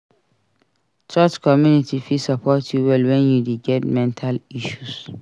Church community fit support you well wen you dey get mental issues.